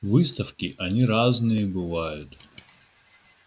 выставки они разные бывают